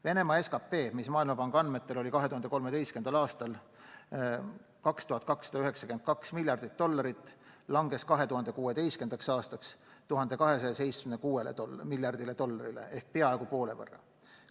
Venemaa SKP, mis Maailmapanga andmetel oli 2013. aastal 2292 miljardit dollarit, langes 2016. aastaks 1276 miljardi dollarini ehk peaaegu poole võrra.